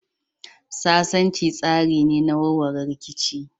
Sasanci tsari ne na warware rikici.